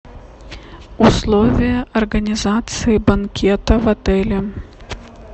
условия организации банкета в отеле